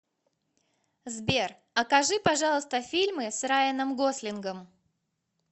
сбер окажи пожалуйста фильмы с райаном гослингом